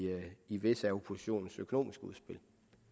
i visse af oppositionens økonomiske udspil